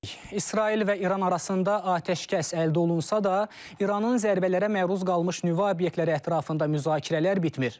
İsrail və İran arasında atəşkəs əldə olunsa da, İranın zərbələrə məruz qalmış nüvə obyektləri ətrafında müzakirələr bitmir.